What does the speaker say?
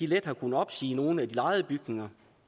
let har kunnet opsige nogle af de lejede bygninger